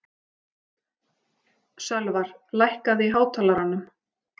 Sölvar, lækkaðu í hátalaranum.